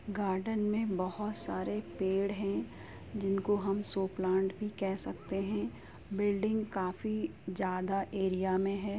Garden में बहुत सारे पेड़ हैं जिनको हम सो प्लांट भी कह सकते हैं। बिल्डिंग काफी ज्यादा एरिया में है।